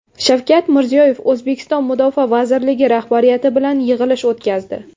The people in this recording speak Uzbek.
Shavkat Mirziyoyev O‘zbekiston Mudofaa vazirligi rahbariyati bilan yig‘ilish o‘tkazdi.